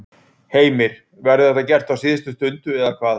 Heimir: Verður þetta gert á síðustu stundu eða hvað?